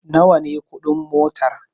Nawa ne kuɗin motar?